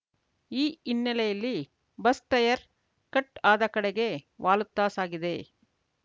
ಈ ಹಿನ್ನೆಲೆಯಲ್ಲಿ bus tyre cut ಆದ ಕಡೆಗೆ ವಾಲುತ್ತಾ ಸಾಗಿದೆ